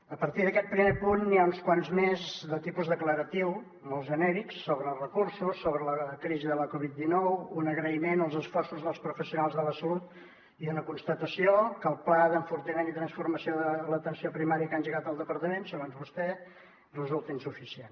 a partir d’aquest primer punt n’hi ha uns quants més de tipus declaratiu molt genèrics sobre recursos sobre la crisi de la covid dinou un agraïment als esforços dels professionals de la salut i una constatació que el pla d’enfortiment i transformació de l’atenció primària que ha engegat el departament segons vostè resulta insuficient